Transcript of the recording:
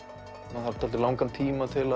maður þarf dálítið langan tíma til